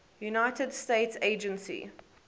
united states agency